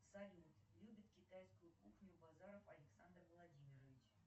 салют любит китайскую кухню базаров александр владимирович